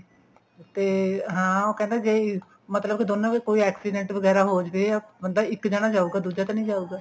ਹਾਂ ਤੇ ਉਹ ਕਹਿੰਦਾ ਜੇ ਮਤਲਬ ਦੋਨੋ ਦੇ ਕੋਈ accident ਵਗੈਰਾ ਹੋ ਜਾਵੇ ਬੰਦਾ ਇੱਕ ਜਾਣਾ ਜਾਉਗਾ ਦੂਜਾ ਤਾਂ ਨੀ ਜਾਉਗਾ